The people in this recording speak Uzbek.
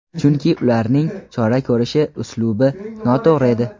Chunki ularning chora ko‘rish uslubi noto‘g‘ri edi.